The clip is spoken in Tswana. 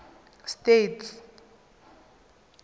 states